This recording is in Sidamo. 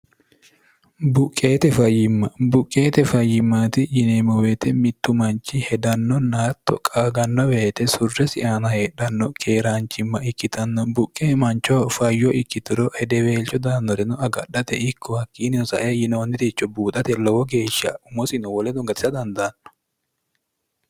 buqqeete fayyimma buqqeete fayyimmaati yineemmo weete mittu manchi hedannonna haatto qaaganno weete surresi aana heedhanno keeraanchimma ikkitanno buqqe manchoho fayyo ikkituro hedeweelcho daannoreno agadhate ikko hakkiinniho sae yinoonniricho buuxate lowo geeshsha umosino woledo gatisa dandaanno